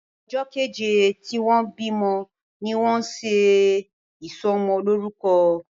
ojó kèje tí wón bí mọ ní wón ṣe isomo loruko.